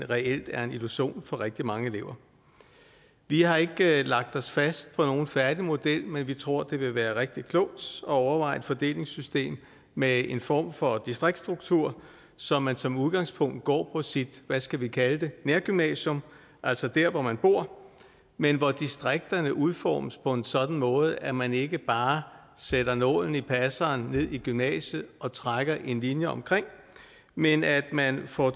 reelt er en illusion for rigtig mange elever vi har ikke lagt os fast på nogen færdig model men vi tror det vil være rigtig klogt overveje et fordelingssystem med en form for distriktsstruktur så man som udgangspunkt går på sit hvad skal vi kalde det nærgymnasium altså der hvor man bor men hvor distrikterne udformes på en sådan måde at man ikke bare sætter nålen i passeren ned i gymnasiet og trækker en linje omkring men at man får